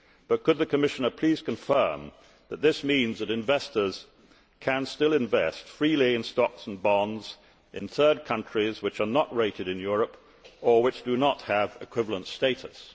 But could the Commissioner please confirm that this means that investors can still invest freely in stocks and bonds in third countries which are not rated in Europe or which do not have equivalent status?